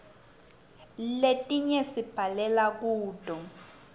letinye sibhalela kuto